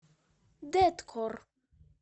дэткор